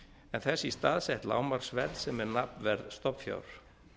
en þess í stað sett lágmarksverð sem er nafnverð stofnfjár